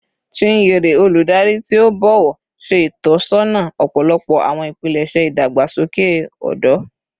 Chinyere, oludari ti o bọwọ, ṣe itọsọna ọpọlọpọ awọn ipilẹṣẹ idagbasoke ọdọ